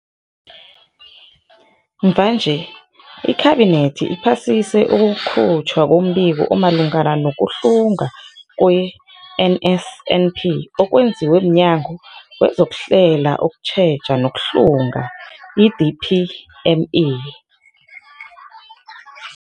Mvanje, iKhabinethi iphasise ukukhutjhwa kombiko omalungana nokuhlungwa kwe-NSNP okwenziwe mNyango wezokuHlela, ukuTjheja nokuHlunga, i-DPME.